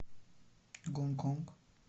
гонконг